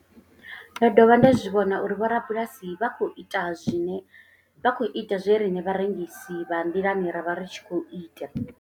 Ndo dovha nda zwi vhona uri vhorabulasi vho vha vha tshi khou ita zwe riṋe vharengisi vha nḓilani ra vha ri tshi khou ita.